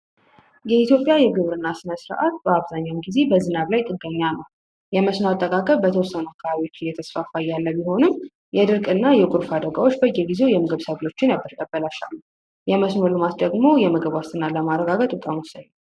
የኢትዮጵያ የግብርና ስነስርዓት አብዛኛውን ጊዜ በዝናብ ላይ ጥገኛ ነው። የመስኖ አጠቃቀም በተወሰኑ አካባቢዎች እየተስፋፋ ያለ ቢሆንም የድርቅ እና የጎርፍ አደጋዎች ብዙውን ጊዜ የምግብ ሰብልን ያበላሻሉ። የመስኖ ልማት ደግሞ የምግብ ዋስትናን ለማረጋገጥ በጣም ወሳኝ ነው።